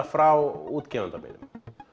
frá útgefanda mínum